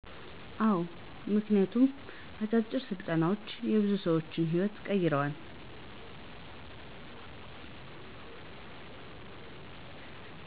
አዎ ምክንያቱም አጫጭር ስልጠናዎች የብዙ ሰዎችን ህይዎት ቀይረዋል።